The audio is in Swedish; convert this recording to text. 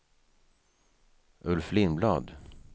Ulf Lindblad